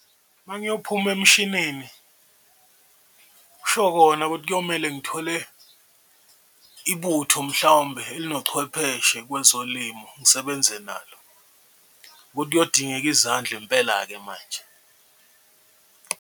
Uma ngiyophuma emshinini kusho kona ukuthi kuyomele ngithole ibutho mhlawumbe elinochwepheshe kwezolimo ngisebenze nalo, ukuthi kuyodingeka izandla impela-ke manje.